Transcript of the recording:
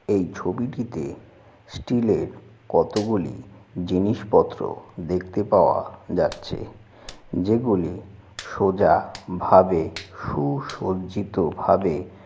এই ছবিটিতে স্টিল এর কতগুলি জিনিসপত্র দেখতে পাওয়া যাচ্ছে যেগুলি সোজা ভাবে সুসজ্জিত ভাবে।